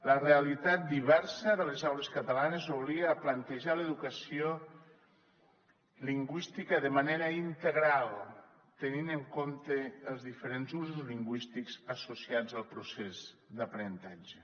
la realitat diversa de les aules catalanes obliga a plantejar l’educació lingüística de manera integral tenint en compte els diferents usos lingüístics associats al procés d’aprenentatge